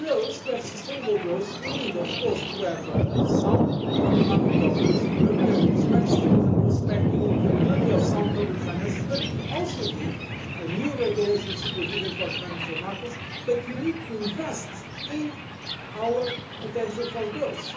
To have sustainable growth, we need of course to have sound economic governance in Europe, we have to respect the Stability and Growth Pact, and we need the credibility of sound public finances, but we also need new regulatory supervision for the financial market and we need to invest in our potential for growth.